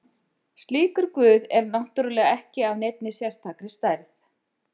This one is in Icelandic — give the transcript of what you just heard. Slíkur guð er náttúrulega ekki af neinni sérstakri stærð.